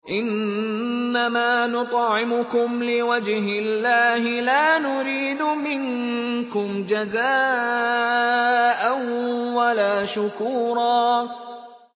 إِنَّمَا نُطْعِمُكُمْ لِوَجْهِ اللَّهِ لَا نُرِيدُ مِنكُمْ جَزَاءً وَلَا شُكُورًا